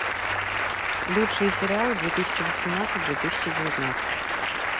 лучшие сериалы две тысячи восемнадцать две тысячи девятнадцать